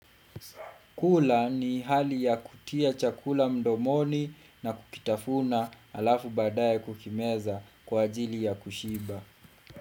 Kula ni hali ya kutia chakula mdomoni na kukitafuna alafu baadaye kukimeza kwa ajili ya kushiba.